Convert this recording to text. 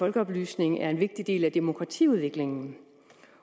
folkeoplysning er en vigtig del af demokratiudviklingen